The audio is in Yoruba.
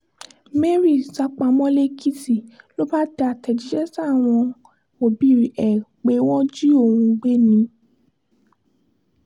mary sá pamọ́ lẹ́kìtì ló bá tẹ àtẹ̀jíṣẹ́ sáwọn òbí ẹ̀ pé wọ́n jí òun gbé ni